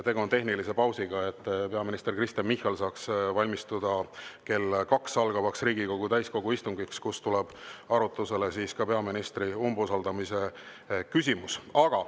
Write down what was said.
Tegu on tehnilise pausiga, et peaminister Kristen Michal saaks valmistuda kell 2 algavaks Riigikogu täiskogu istungiks, kus tuleb arutlusele ka peaministri umbusaldamise küsimus.